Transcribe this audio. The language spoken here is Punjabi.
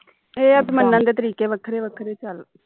ਇਹ ਮੰਨਣ ਦੇ ਤਰੀਕੇ ਵੱਖਰੇ ਵੱਖਰੇ ਚਁਲ